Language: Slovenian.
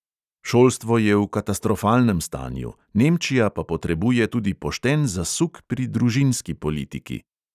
Šolstvo je v katastrofalnem stanju, nemčija pa potrebuje tudi pošten zasuk pri družinski politiki.